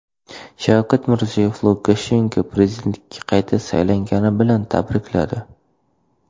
Shavkat Mirziyoyev Lukashenkoni prezidentlikka qayta saylangani bilan tabrikladi.